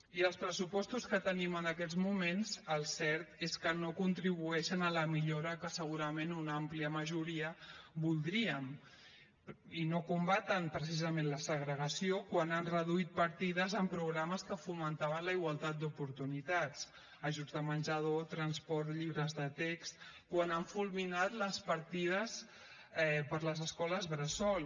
i els pressupostos que tenim en aquests moments el cert és que no contribueixen a la millora que segurament una àmplia majoria voldríem i no combaten precisament la segregació quan han reduït partides en programes que fomentaven la igualtat d’oportunitats ajuts de menjador transport llibres de text quan han fulminat les partides per a les escoles bressol